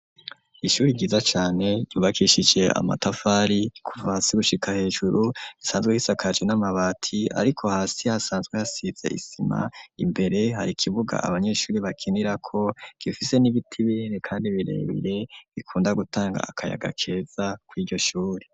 Ishuri ryiza cane, ryubakishikije amatafari kuva hasi gushika hejuru, risanzwe risakaje n'amabati, ariko hasi hasanzwe hasize isima, imbere hari ikibuga abanyeshuri bakinirako gifise n'ibiti binini, kandi birebire bikunda gutanga akayaga keza kw'iryo shuri.